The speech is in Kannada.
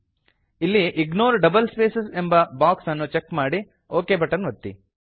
ಇಲ್ಲಿ ಇಗ್ನೋರ್ ಡಬಲ್ ಸ್ಪೇಸ್ ಎಂಬ ಬಾಕ್ಸ್ ಅನ್ನು ಚೆಕ್ ಮಾಡಿ ಒಕ್ ಬಟನ್ ಒತ್ತಿ